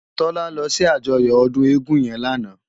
Tola lò si àjòyò òdún égùn yèn làná